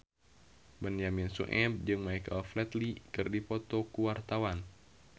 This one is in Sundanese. Benyamin Sueb jeung Michael Flatley keur dipoto ku wartawan